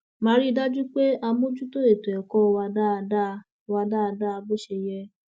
má a rí i dájú pé a mójútó ètò ẹkọ wa dáadáa wa dáadáa bó ṣe yẹ